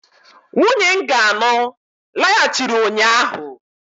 nwunye nga anụ laghachiri ụnyaahụ